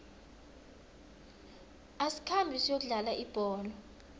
asikhambe siyokudlala ibholo